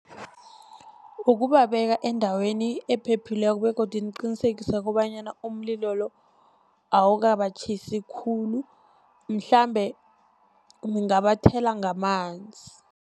Ukubabeka endaweni ephephileko begodu ngiqinisekise kobanyana umlilo lo awukabatjhisi khulu, mhlambe ngingabathela ngamanzi.